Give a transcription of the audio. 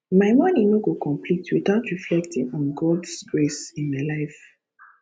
my morning no go complete without reflecting on gods grace in my life